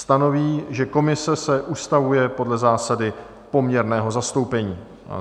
Stanoví, že komise se ustavuje podle zásady poměrného zastoupení."